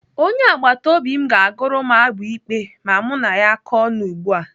Onye agbataobi m ga-agụrụ m abụ ikpe ma mụ na ya kọọ ọnụ ugbu a.